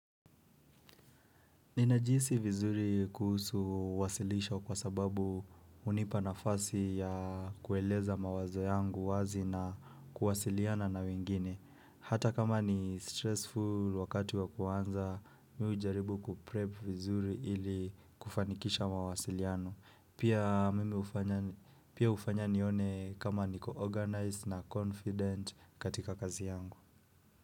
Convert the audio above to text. Ninajihisi vizuri kuhusu wasilisho kwa sababu hunipa nafasi ya kueleza mawazo yangu wazi na kuwasiliana na wengine. Hata kama ni stressful wakati wa kuanza, mi hujaribu kuprep vizuri ili kufanikisha mawasiliano. Pia mimi hufanya nione kama niko organized na confident katika kazi yangu.